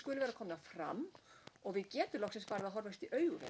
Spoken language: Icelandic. skyldu vera komnar fram og við getum loksins farið að horfast í augu